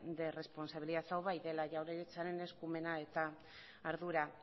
de responsabilidad hau bai dela jaurlaritzaren eskumena eta ardura